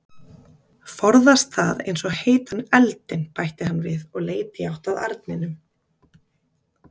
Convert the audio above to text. Forðast það eins og heitan eldinn, bætti hann við og leit í átt að arninum.